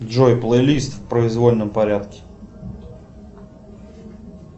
джой плейлист в произвольном порядке